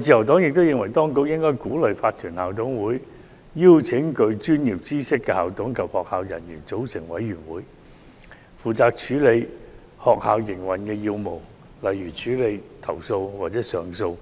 自由黨亦認為，當局應鼓勵法團校董會邀請具專業知識的校董及學校人員組成委員會，負責處理學校營運要務，例如處理投訴或上訴、